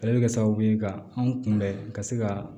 Ale bɛ kɛ sababu ye ka anw kunbɛn ka se ka